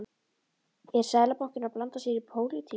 Er Seðlabankinn að blanda sér í pólitík?